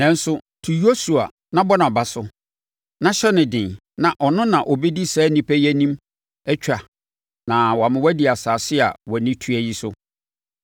Nanso, tu Yosua na bɔ nʼaba so, na hyɛ no den na ɔno na ɔbɛdi saa nnipa yi anim atwa na wama wɔadi asase a wʼani tua yi so.”